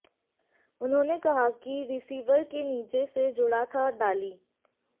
उन्होंने कहा कि रिसीवर के नीचे से जुड़ा था डाली